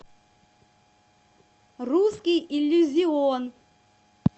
русский иллюзион